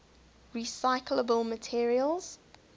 recyclable materials